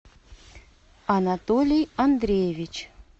анатолий андреевич